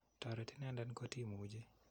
Toret inendet ngotii muchi.